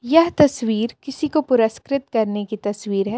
यह तस्वीर किसीको पुरस्कृत करने की तस्वीर हे.